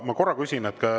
Ma korra küsin.